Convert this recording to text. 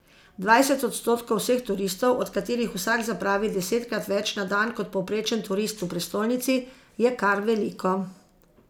Dvajset odstotkov vseh turistov, od katerih vsak zapravi desetkrat več na dan kot povprečen turist v prestolnici, je kar veliko.